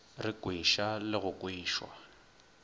re kweša le go kwešwa